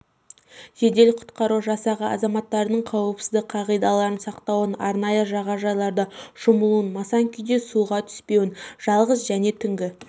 жедел-құтқару жасағы азаматтардың қауіпсіздік қағидаларын сақтауын арнайы жағажайларда шомылуын масаң күйде суға түспеуін жалғыз және түнгі